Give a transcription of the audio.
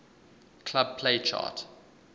club play chart